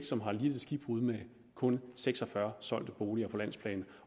som har lidt et skibbrud med kun seks og fyrre solgte boliger på landsplan